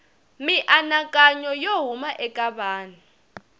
mianakanyo yo huma eka vanhu